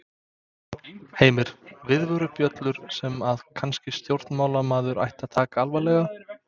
Heimir: Viðvörunarbjöllur sem að kannski stjórnmálamaður ætti að taka alvarlega?